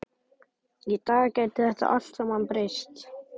Í dag gæti þetta allt saman breyst.